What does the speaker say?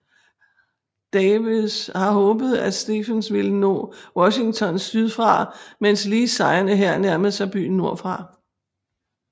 Davis havde håbet at Stephens ville nå Washington sydfra mens Lees sejrende hær nærmede sig byen nordfra